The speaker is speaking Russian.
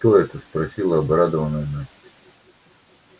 что это спросила обрадованная настя